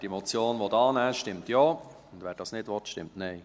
Wer die Motion annehmen will, stimmt Ja, wer das nicht will, stimmt Nein.